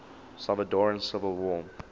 salvadoran civil war